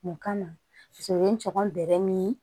Mun kama so o ye n cɔkɔn bɛrɛ min